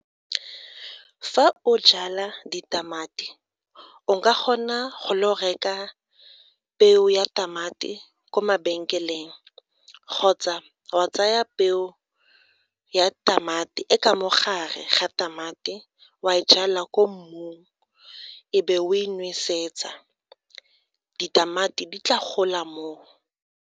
Fa o jala ditamati, o ka kgona go lo go reka peo ya tamati ko mabenkeleng, kgotsa wa tsaya peo o ya tamati e e ka mo gare ga tamati wa e jala kwa mmung e be o e nosetsa, ditamati di tla gola moo.